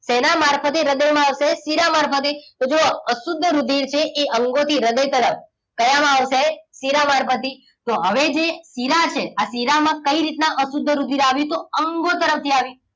શેના મારફતે હૃદયમાં આવશે શીરા મારફતે તો જુઓ અશુદ્ધ રુધિર છે એ અંગો થી હૃદય તરફ કયા માં આવશે શિરા મારફતે તો હવે જે શીરા છે આ શિરામાં કઈ રીતના અશુદ્ધ રુધિર આવ્યુ તો અંગો તરફથી આવ્યુ